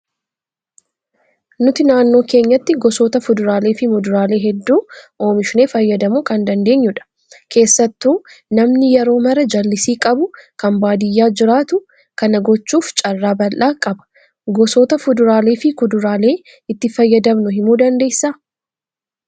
Nuti naannoo keenyatti gosoota fuduraalee fi muduraalee hedduu oomishnee fayyadamuu kan dandeenyudha. Keessattuu namni yeroo maraa jallisii qabu kan baadiyyaa jiraatu kana gochuuf carraa bal'aa qaba. Gosoota fuduraalee fi kuduraalee itti fayyadamnu himuu dandeessaa?